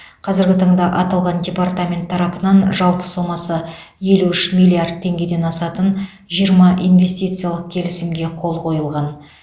қазіргі таңда аталған департамент тарапынан жалпы сомасы елу үш миллиард теңгеден асатын жиырма инвестициялық келісімге қол қойылған